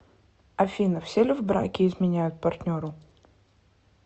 афина все ли в браке изменяют партнеру